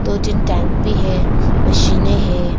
दो तीन टैंक भी है मशीने है।